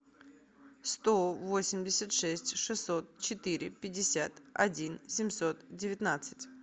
сто восемьдесят шесть шестьсот четыре пятьдесят один семьсот девятнадцать